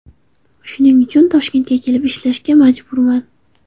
Shuning uchun Toshkentga kelib ishlashga majburman.